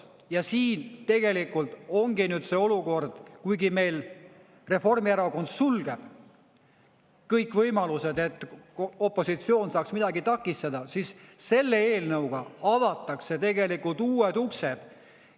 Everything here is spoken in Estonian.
Ja siin tegelikult ongi nüüd see olukord, kuigi meil Reformierakond sulgeb kõik võimalused, et opositsioon saaks midagi takistada, siis selle eelnõuga avatakse uued uksed.